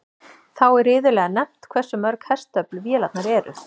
Þá er iðulega nefnt hversu mörg hestöfl vélarnar eru.